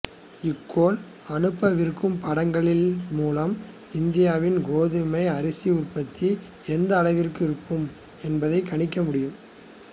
இக்கோள் அனுப்பவிருக்கும் படங்களின் மூலம் இந்தியாவில் கோதுமை அரிசி உற்பத்தி எந்த அளவிற்கு இருக்கும் என்பதைக் கணிக்க முடியும்